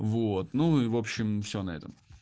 вот ну и в общем всё на этом